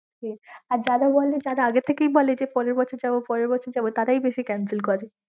যে আর যারা বলে যারা আগে থেকেই বলে যে পরের বছর যাবো, পরের বছর যাবো, তারাই বেশি cancel করে।